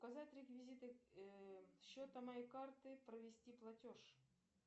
указать реквизиты счета моей карты провести платеж